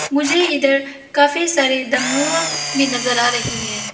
मुझे इधर काफी सारे डमरू भी नजर आ रही है।